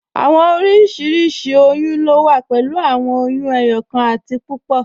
Awọn oriṣiríṣi oyún lo wà pẹ̀lú awọn oyún ẹyọkan àti púpọ́.